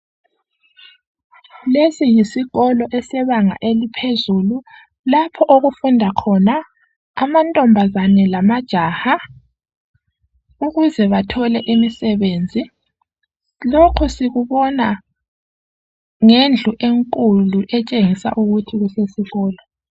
Lesi yisikolo esebanga eliphezulu lapho okufunda khona amantombazana eamajaha ukuze bathole imisebenzi. Lokhu sikubona ngendlu enkulu etshengisa ukuthi kusesikolo